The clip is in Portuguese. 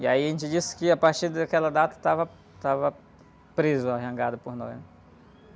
E aí a gente disse que a partir daquela data estava, estava presa, a jangada, por nós.